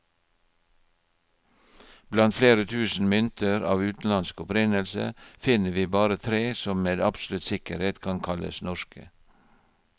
Blant flere tusen mynter av utenlandsk opprinnelse, finner vi bare tre som med absolutt sikkerhet kan kalles norske.